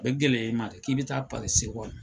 A bi gɛlɛya i ma dɛ k'i bɛ taa pari segɔni